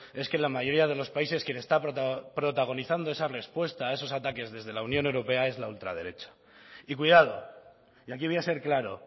es que la mayoría de los países quien está protagonizando esa respuesta esos ataques desde la unión europea es la ultraderecha y cuidado y aquí voy a ser claro